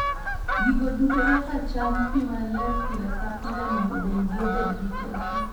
Gigo duto nyaka cham pi maler pile ka pile mondo dendgi obed gi teko.